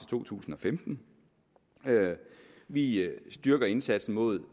to tusind og femten vi styrker indsatsen mod